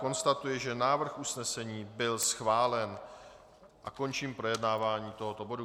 Konstatuji, že návrh usnesení byl schválen, a končím projednávání tohoto bodu.